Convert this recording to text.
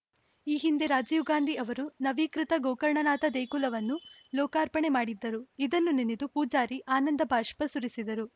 ಈ ಹಿಂದೆ ರಾಜೀವ್‌ ಗಾಂಧಿ ಅವರೂ ನವೀಕೃತ ಗೋಕರ್ಣನಾಥ ದೇಗುಲವನ್ನು ಲೋಕಾರ್ಪಣೆ ಮಾಡಿದ್ದರುಇದನ್ನು ನೆನೆದು ಪೂಜಾರಿ ಆನಂದಬಾಷ್ಪ ಸುರಿಸಿದರು